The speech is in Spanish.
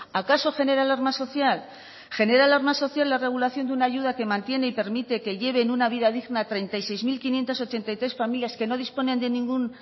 acaso genera alarma social genera alarma social la regulación de una ayuda que mantiene y permite que lleven una vida digna treinta y seis mil quinientos ochenta y tres familias que no disponen de ningún